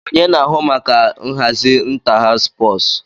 Onye na-ahụ maka nhazi ịntáháws sụpọọsụ